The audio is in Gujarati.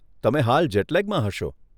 તમે હાલ જેટ લેગમાં હશો.